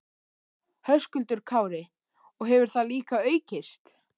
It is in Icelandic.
Höskuldur Kári: Og hefur það líka aukist?